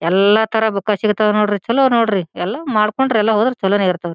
ಎಲ್ಲಾ ತರ ಬುಕ್ ಸಿಗತ್ವ್ ನೋಡ್ರಿ ಚಲೋ ನೋಡ್ರಿ ಎಲ್ಲಾ ಮಾಡಕೊಂಡ್ರೆ ಎಲ್ಲಾ ಹೋದ್ರೆ ಚಲೊನ್ ಇರತ್ವ್ ರಿ.